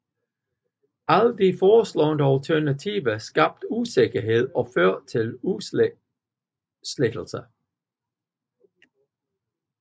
Alle de foreslåede alternativer skabte usikkerhed og førte til udsættelser